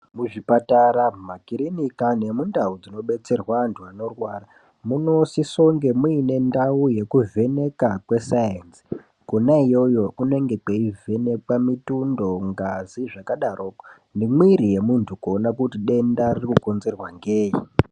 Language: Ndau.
Kuzvipatara makirinika ngendau inodetserwa antu munosisa kunge muine ndau dzinodetserwa vantu anorwara munosiso kunge mune ndau yekuvheneka kwe sainzi kona iyoyo kunenge kweivhenekwa mutundo ngazi zvakadaro nemuviri wemuntu kuona kuti denta rinokonzerwa nei.